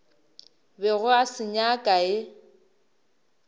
bego a se nyaka e